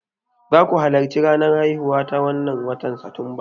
Zaku halarci ranar haihuwa ta wannan watan satumba?